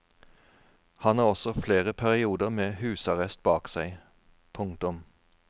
Han har også flere perioder med husarrest bak seg. punktum